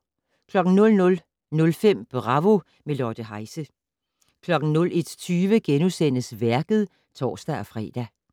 00:05: Bravo - med Lotte Heise 01:20: Værket *(tor-fre)